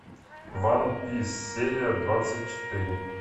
ван пис серия двадцать четыре